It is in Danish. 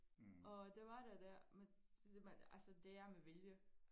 Og det var der dér men men altså det er med vilje